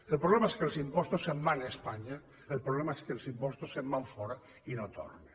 el problema és que els impostos se’n van a espanya el problema és que els impostos se’n van fora i no tornen